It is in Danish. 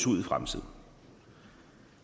ud i fremtiden